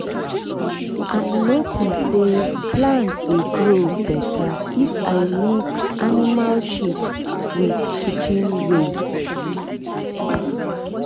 if you hide animal shit well fly no go too worry the place.